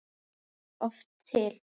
líka oft til.